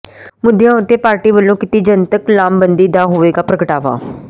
ਮੁੱਦਿਆਂ ਉਤੇ ਪਾਰਟੀ ਵਲੋਂ ਕੀਤੀ ਜਨਤਕ ਲਾਮਬੰਦੀ ਦਾ ਹੋਵੇਗਾ ਪ੍ਰਗਟਾਵਾ